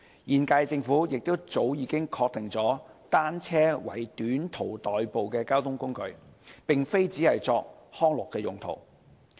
現屆政府亦早已確定單車為短途代步的交通工具，並非只是作康樂用途。